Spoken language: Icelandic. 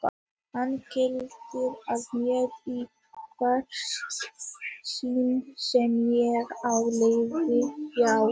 Hann geltir að mér í hvert sinn sem ég á leið hjá.